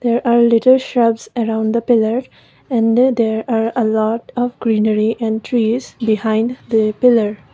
there are little shelves around the pillar and that are a lot of greenery and trees behind they pillar.